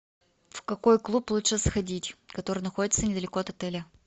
в какой клуб лучше сходить который находится недалеко от отеля